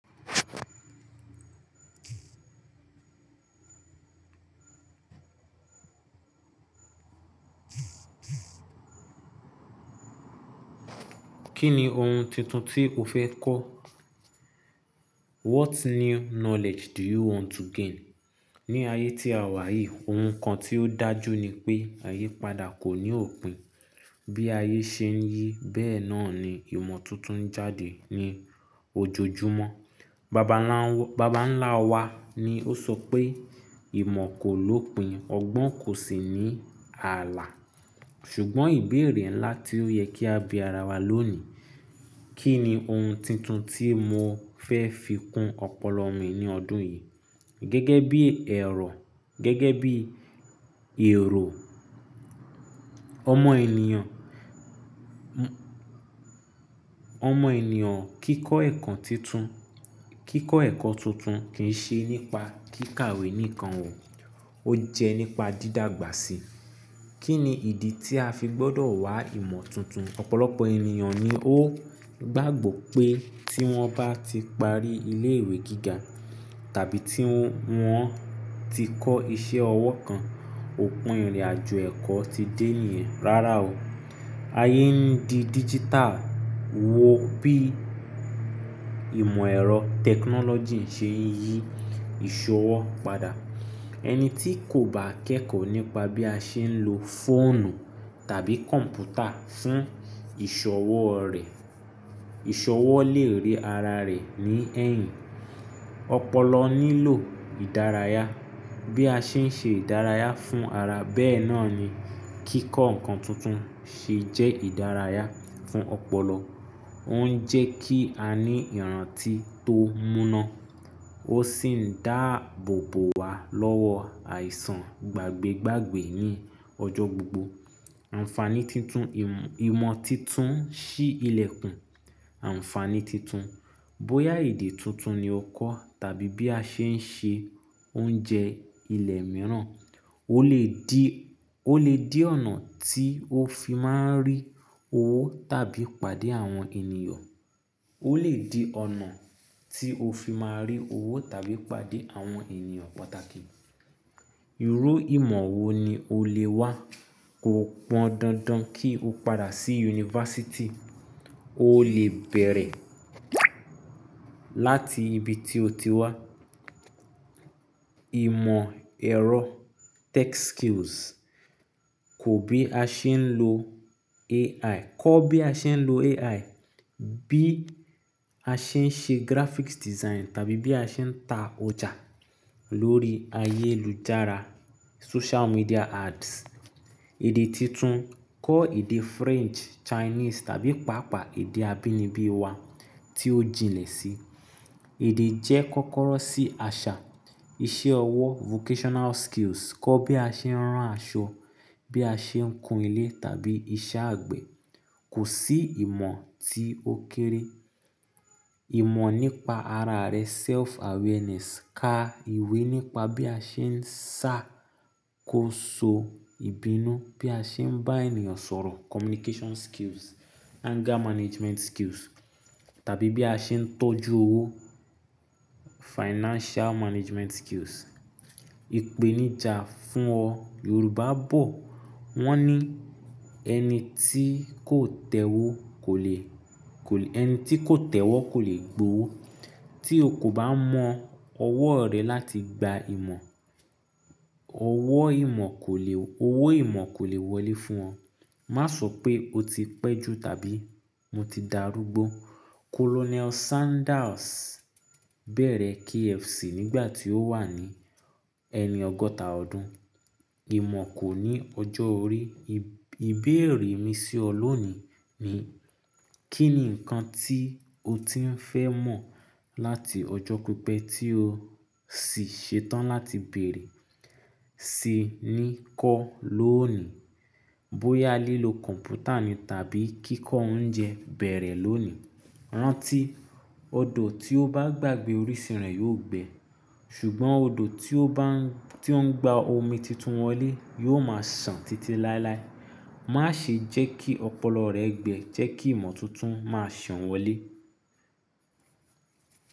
Kí ni ohun titun tí o fẹ́ kọ́? What new knowledge do you want to gain? Ni ayé tí a wà yìí, ohun kan tí ó dájú ni pé àyípadà kò ní òpin. Bí ayé ṣe ń yí, bẹ́ẹ̀ náà ni ìmọ̀ tuntun ń jáde ní ojojúmọ́. Baba ńlá wa ni ó sọ pé "ìmọ̀ kò lopin, ọgbọ́n kò sì ní ààlà." ṣùgbọ́n ìbéèrè ńlá tí ó yẹ kí a bí ara wa lónìí, kí ni ohun titun tí mo fẹ́ fi kún ọpọlọ mi ní ọdún yìí? Gẹ́gẹ́ bí ẹ̀rọ, gẹ́gẹ́ bí èrò, ọmọ ènìyàn, ọmọ ènìyàn kíkọ́ ẹ̀kọ́ tuntun kì í ṣe nípa kíkàwé nìkan o, ó jẹ́ nípa dídàgbà sí i. Kí ni ìdí tí a fi gbọ́dọ̀ wá ìmọ̀ tuntun? Ọ̀pọ̀lọpọ̀ ènìyàn ni ó gbàgbọ́ pé tí wọ́n bá ti parí ilé-ìwé gíga tàbí tí wọ́n ti kọ́ iṣẹ́ ọwọ́ kan, òpin ìrìnàjò ẹ̀kọ́ ti dé niyen. Rárá o. Ayé ń di digital. Wo bí ìmọ̀ ẹ̀rọ technology ṣe ń yí ìṣọwọ́ padà. Ẹni tí kò bá kẹ́kọ̀ọ́ nípa bí a ṣe ń lo fóònù tàbí kọ̀m̀pútà fún ìṣọwọ́ rẹ̀, ìṣọwọ́ lè ré ara rẹ̀ ní ẹ̀yìn. Ọpọlọ nílò ìdárayá. Bí a ṣe ń ṣe ìdárayá fún ara, bẹ́ẹ̀ náà ni kíkọ́ nǹkan tuntun ṣe jẹ́ ìdárayá fún ọpọlọ. Ó ń jẹ́ kí a ní ìrántí tó múná, ó sì ń dáàbòbò wa lọ́wọ́ àìsàn gbàgbé gbàgbé ní ọjọ́ gbogbo. Ànfàní titun, ìmọ̀ titun ṣí ilẹ̀kùn. Ànfàní titun. Bóyá èdè tuntun ni o kọ́ tàbí bí a ṣe ń ṣe oúnjẹ ilẹ̀ mìíràn, ó lè di, ó lè di ọ̀nà tí o fi máa ń rí owó tàbí pàdé àwọn ènìyàn. Ó lè di ọ̀nà tí o fi máa rí owó tàbí pàdé àwọn ènìyàn pàtàkì. Irú ìmọ̀ wo ni o lè wá? Kò pọn dandan kí o padà sí yunifásítì. O lè bẹ̀rẹ̀ láti ibi tí o ti wá. Ìmọ̀ ẹ̀rọ tech skills, kọ́ bí a ṣe ń lo AI, kọ́ bí a ṣe ń lo AI, bí a ṣe ń ṣe graphics design tàbí bí a ṣe ń ta ọjà lórí ayélujára social media ads. Èdè titun, kọ́ èdè French, Chinese tàbí pàápàá èdè abínibí wa tí ó jinlẹ̀ sí. Èdè jẹ́ kọ́kọ́rọ́ sí àṣà. Iṣẹ́ ọwọ́ vocational skills, kọ́ bí a ṣe ń rán aṣọ, bí a ṣe ń kun ilé tàbí iṣẹ́ àgbẹ̀. Kò sí ìmọ̀ tí ó kéré. Ìmọ̀ nípa ara rẹ self awareness, ka ìwé nípa bí a ṣe ń ṣá, kó ṣọ ìbínú, bí a ṣe ń bá ènìyàn sọ̀rọ̀ communication skills, anger management skills tàbí bí a ṣe ń tọ́jú owó financial management skills. Ìpèníjà fún ọ. Yorùbá bọ̀, wọ́n ní "ẹni tí kò tẹ́wọ́ kò lè, ẹni tí kò tẹ́wọ́ kò lè gbowó." Tí o kò bá mọ ọwọ́ rẹ láti gba ìmọ̀, ọwọ́ ìmọ̀ kò lè, owó ìmọ̀ kò lè wọlé fún ọ. Má sọ pé o ti pẹ́ jù tàbí mo ti dàrúgbó. Colonel Sanders bẹ̀rẹ̀ KFC nígbà tí ó wà ní ẹni ọgọ́ta ọdún. Ìmọ̀ kò ní ọjọ́ orí. Ìbéèrè mi sí ọ lónìí ni, kí ni nǹkan tí o ti ń fẹ́ mọ̀ láti ọjọ́ pípẹ́ tí o sì ṣe tán láti bèèrè ti ní kọ́ lóòní? Bóyá lílo kọ̀m̀pútà ni tàbí kíkọ́ oúnjẹ bẹ̀rẹ̀ lóòní. Rántí odo ti o baa gbàgbé orísun re yi o gbe ṣùgbọ́n odò tí ó bá ń, tí ó ń gba omi titun wọlé yóò máa sàn títí láéláé. Má ṣe jẹ́ kí ọpọlọ rẹ gbẹ, jẹ́ kí ìmọ̀ tuntun máa sàn wọlé.